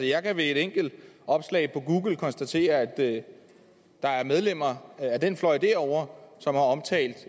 jeg kan ved et enkelt opslag på google konstatere at der er medlemmer af den fløj derovre som har omtalt